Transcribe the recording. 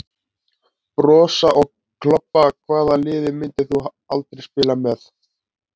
Brosa og klobba Hvaða liði myndir þú aldrei spila með?